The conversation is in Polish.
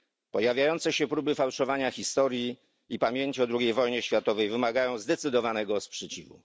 Pojawiające się próby fałszowania historii i pamięci o II wojnie światowej wymagają zdecydowanego sprzeciwu.